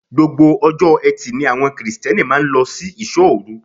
Gbogbo ọjọ́ eti ni àwọn Kirìtẹ́nì máa ń lọ sí ìṣó-òru.